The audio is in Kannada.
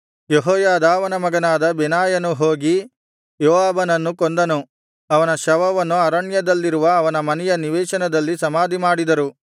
ಯೆಹೋಯಾದಾವನ ಮಗನಾದ ಬೆನಾಯನು ಹೋಗಿ ಯೋವಾಬನನ್ನು ಕೊಂದನು ಅವನ ಶವವನ್ನು ಅರಣ್ಯದಲ್ಲಿರುವ ಅವನ ಮನೆಯ ನಿವೇಶನದಲ್ಲಿ ಸಮಾಧಿಮಾಡಿದರು